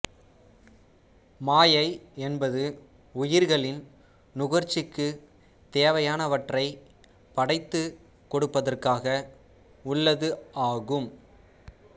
மாயை என்பது உயிர்களின் நுகர்ச்சிக்குத் தேவையானவற்றைப் படைத்துக் கொடுப்பதற்காக உள்ளது ஆகும்